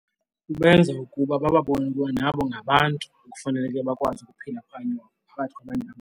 Kubenza ukuba bababone ukuba nabo ngabantu ekufaneleke bakwazi ukuphila phakathi kwabanye bantu.